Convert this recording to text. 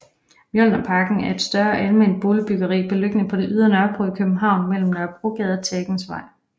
Mjølnerparken er et større alment boligbyggeri beliggende på det ydre Nørrebro i København mellem Nørrebrogade og Tagensvej